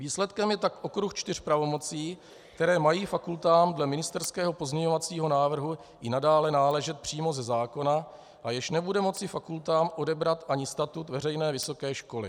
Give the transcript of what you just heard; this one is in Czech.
Výsledkem je tak okruh čtyř pravomocí, které mají fakultám dle ministerského pozměňovacího návrhu i nadále náležet přímo ze zákona a jež nebude moci fakultám odebrat ani statut veřejné vysoké školy.